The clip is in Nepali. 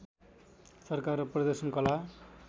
सरकार र प्रदर्शन कला